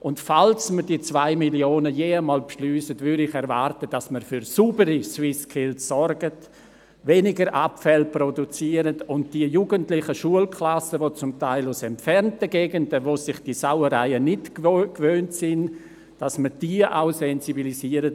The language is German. Und falls man die 2 Mio. Franken je einmal beschliessen sollte, würde ich erwarten, dass wir für saubere SwissSkills sorgen, weniger Abfälle produzieren und die jugendlichen Schulklassen, die teilweise aus entfernten Gegenden stammen und sich diese Sauerei nicht gewohnt sind, für die Abfallproblematik sensibilisieren.